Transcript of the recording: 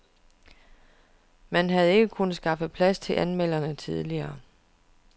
Man havde ikke kunnet skaffe plads til anmelderne tidligere.